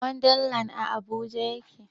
Wanda land a habuja yake